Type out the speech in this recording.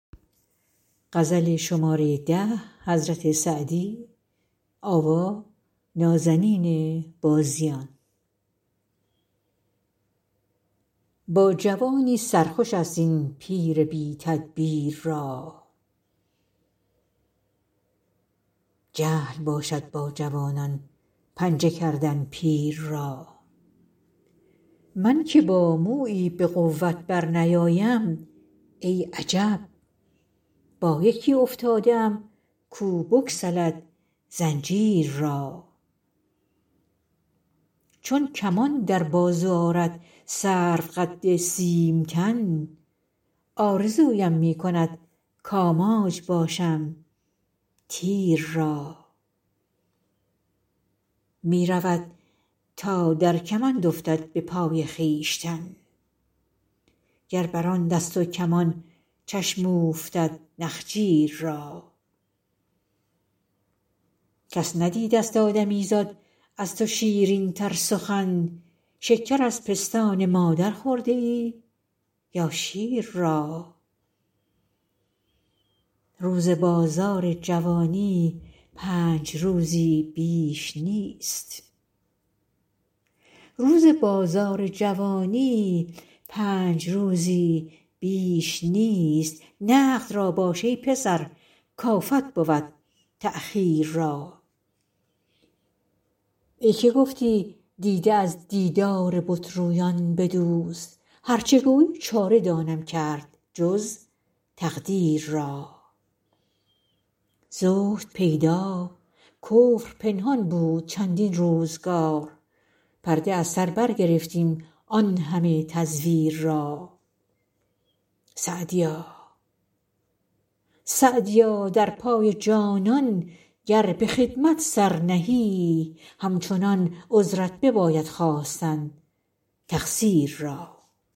با جوانی سر خوش است این پیر بی تدبیر را جهل باشد با جوانان پنجه کردن پیر را من که با مویی به قوت برنیایم ای عجب با یکی افتاده ام کو بگسلد زنجیر را چون کمان در بازو آرد سروقد سیم تن آرزویم می کند کآماج باشم تیر را می رود تا در کمند افتد به پای خویشتن گر بر آن دست و کمان چشم اوفتد نخجیر را کس ندیدست آدمیزاد از تو شیرین تر سخن شکر از پستان مادر خورده ای یا شیر را روز بازار جوانی پنج روزی بیش نیست نقد را باش ای پسر کآفت بود تأخیر را ای که گفتی دیده از دیدار بت رویان بدوز هر چه گویی چاره دانم کرد جز تقدیر را زهد پیدا کفر پنهان بود چندین روزگار پرده از سر برگرفتیم آن همه تزویر را سعدیا در پای جانان گر به خدمت سر نهی همچنان عذرت بباید خواستن تقصیر را